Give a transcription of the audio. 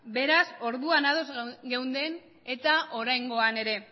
beraz orduan ados geunden eta oraingoan ere